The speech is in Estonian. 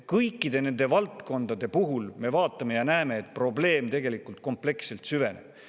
Kõikide nende valdkondade puhul me näeme, et probleem tegelikult kompleksselt süveneb.